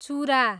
चुरा